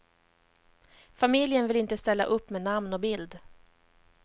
Familjen vill inte ställa upp med namn och bild.